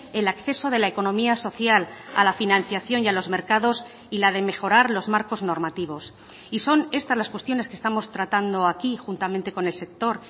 el acceso de la economía social a la financiación y a los mercados y la de mejorar los marcos normativos y son estas las cuestiones que estamos tratando aquí juntamente con el sector